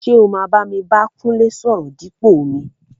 ṣé o máa bámi bá Kúnlé sọ̀rọ̀ dípò mi?